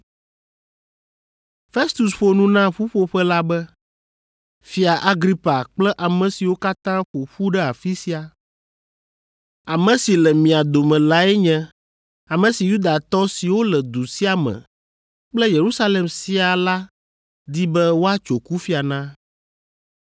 Festus ƒo nu na ƒuƒoƒe la be, “Fia Agripa kple ame siwo katã ƒo ƒu ɖe afi sia, ame si le mia dome lae nye ame si Yudatɔ siwo le du sia me kple Yerusalem siaa la di be woatso kufia na.